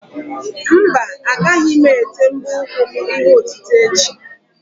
Mba, agaghị m ete mbọ ụkwụ m ihe otite echi.